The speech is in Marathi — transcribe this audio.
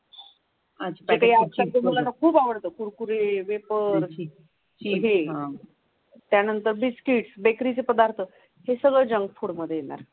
आजकालच्या मुलांना खूप आवडत ग कुरकुरे वेफर्स मग हे त्यानंतर बिस्किटस बेकरीचे पदार्थ हे सगळं जंक फुड मध्ये येणार.